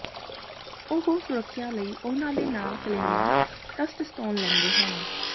ਉਹ ਸੁਰੱਖਿਆ ਲਈ ਉਹਨਾਂ ਦੇ ਨਾਲ ਕਲੇਮਾ ਟਸਟਸਟੋਨ ਲੈਂਦੇ ਹਨ